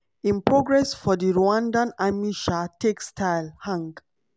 im progress for di rwandan army sha take style hang.